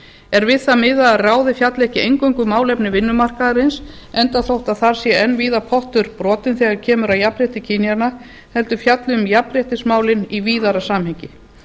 er við það miðað að ráðið fjalli ekki eingöngu um málefni vinnumarkaðarins enda þótt þar sé enn þá víða pottur brotinn þegar kemur að jafnrétti kynjanna heldur fjalli um jafnréttismálin í víðara samhengi